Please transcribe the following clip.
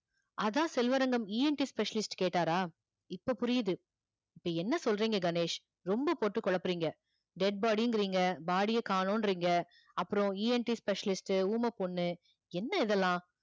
அதான் செல்வரங்கம் ENTspecialist கேட்டாரா இப்ப புரியுது இப்ப என்ன சொல்றீங்க கணேஷ் ரொம்ப போட்டு குழப்பறீங்க dead body ங்கிறீங்க body அ காணோம்ன்றீங்க அப்புறம் ENTspecialist ஊமைப்பொண்ணு என்ன இதெல்லாம்